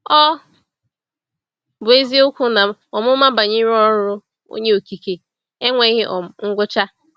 Ọ bụ eziokwu na ọmụma banyere ọrụ Onye Okike enweghị um ngwụcha.